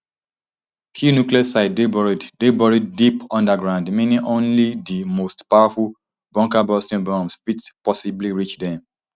key nuclear sites dey buried dey buried deep underground meaning only di most powerful bunkerbusting bombs fit possibly reach dem